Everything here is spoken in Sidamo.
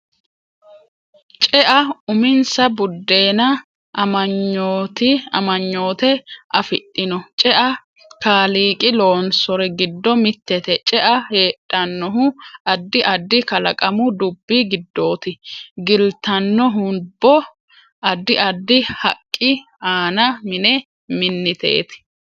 Cea uminsa budenna amagnoite afidhinno cea kaaliqi loonsori giddo mitette cea heedhanohu addi addi kalaqamu dubbi gidooti gltanohubo addi addi haqqi aana mine miniteeti